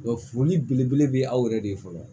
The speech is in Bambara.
foli belebele bɛ aw yɛrɛ de ye fɔlɔ